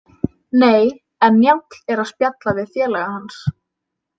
Nei, en Njáll er að spjalla við félaga hans.